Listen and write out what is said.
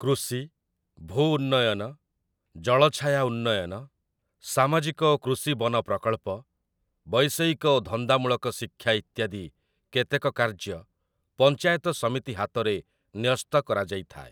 କୃଷି, ଭୂ ଉନ୍ନୟନ, ଜଳଛାୟା ଉନ୍ନୟନ, ସାମାଜିକ ଓ କୃଷି ବନ ପ୍ରକଳ୍ପ, ବୈଷୟିକ ଓ ଧନ୍ଦାମୂଳକ ଶିକ୍ଷା ଇତ୍ୟାଦି କେତେକ କାର୍ଯ୍ୟ ପଞ୍ଚାୟତ ସମିତି ହାତରେ ନ୍ୟସ୍ତ କରାଯାଇଥାଏ ।